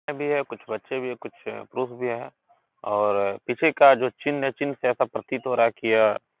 सभी हैं कुछ बच्चे भी हैं कुछ पुरुष भी हैं और इसी का जो चिन्ह है चिन्ह से ऐसा प्रतीत हो रहा है कि यह --